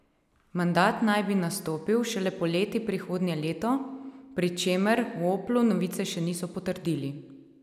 Mandat naj bi nastopil šele poleti prihodnje leto, pri čemer v Oplu novice še niso potrdili.